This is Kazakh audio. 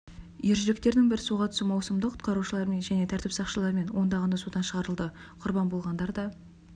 ержүректердің бір суға түсу маусымында құтқарушылармен және тәртіп сақшыларымен ондағаны судан шығарылды құрбан болғандар да